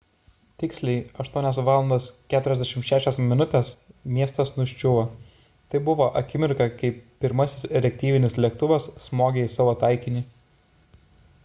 tiksliai 8.46 val miestas nuščiuvo – tai buvo akimirka kai pirmasis reaktyvinis lėktuvas smogė į savo taikinį